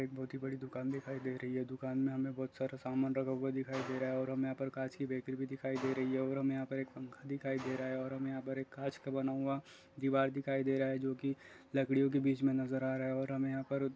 एक बहुत ही बड़ी दुकान दिखाई दे रही है दुकान मे हमे बहुत सारा सामान रखा हुआ दिखाई दे रहा और हमे यहाँ पर कांच की बेकरी भी दिखाई दे रही है और हमे यहाँ पर पंखा दिखाई दे रहा है और हमे यहाँ पर कांच का बना हुआ दीवार दिखाई दे रहा जो की लकड़ियों के बीच मे नजर आ रहा और हमे यहाँ पर --